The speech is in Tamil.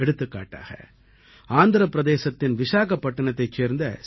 எடுத்துக்காட்டாக ஆந்திர பிரதேசத்தின் விசாகப்பட்டினத்தைச் சேர்ந்த சி